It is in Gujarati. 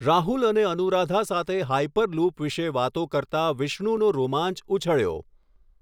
રાહુલ અને અનુરાધા સાથે હાઈપરલૂપ વિશે વાતો કરતા વિષ્ણુનો રોમાંચ ઊછળ્યો.